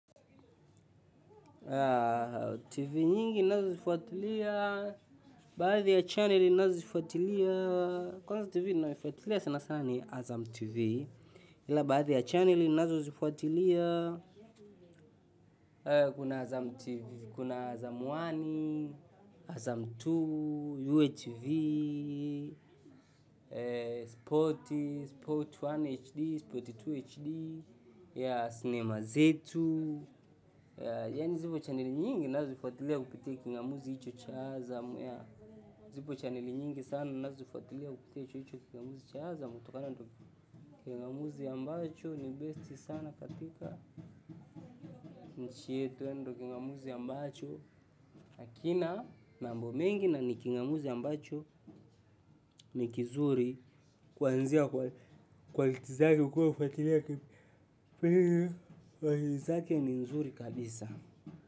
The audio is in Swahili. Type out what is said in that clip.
TV nyingi ninazofuatilia, baadhi ya chaneli nazifuatilia, kwanza TV ninayoifuatilia sana ni Azam TV, ila baadhi ya chaneli ninazozifuatilia. Kuna Azam TV, kuna Azam moja, Azam mbili, UHV, Sport, Sport moja HD, Sport mbili HD, ya sinema zetu, zipo chanili nyingi nazozifuatilia kupitea kingamuzi icho chaaza. Zipo chanili nyingi sana nazo ufatilea kupitia hicho kingamuzi chaaza. Mtokana ndiyo kingamuzi ambacho ni besti sana katika. Nchi yetu ndiyo kingamuzi ambacho. Hakina mambo mengi na ni kingamuzi ambacho ni kizuri. Kwa nzia kwalitizari ukua ufatilea. Kwa nzia kwalitizari ukua ufatilea kabisa.